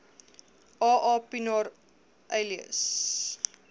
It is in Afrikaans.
aa pienaar alias